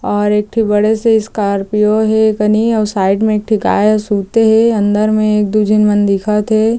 और एक ठी बड़े से स्कार्पिओ हे ए कनि अउ साइड में एक ठी गाय सुते हे अंदर में एक दू झीन मन दिखत हे।